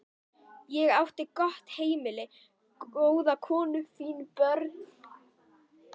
Ég átti gott heimili, góða konu, fín börn.